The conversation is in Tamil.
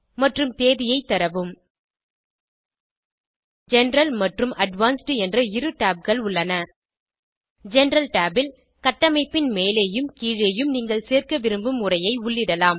மற்றும் தேதியை தரவும் ஜெனரல் மற்றும் அட்வான்ஸ்ட் என்ற இரு tabகள் உள்ளன ஜெனரல் Tab ல் கட்டமைப்பின் மேலேயும் கீழேயும் நீங்கள் சேர்க்க விரும்பும் உரையை உள்ளிடலாம்